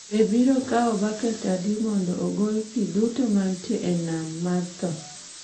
Be biro kawo baket adi mondo ogol pi duto mantie e nam ma tho?